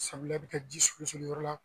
bi kɛ ji sigi sigi yɔrɔ yɔrɔ la.